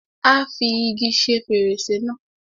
Á fi igi ṣe fèrèsé náà.